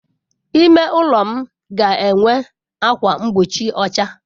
Ime ụlọ m ga enwe ákwà mgbochi ọcha.